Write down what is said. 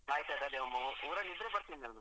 ಆಯ್ತ್ ಆಯ್ತ್ ಅದೇ ಊರಲ್ಲಿದ್ರೆ ಬರ್ತೀನಿ ನಾನು.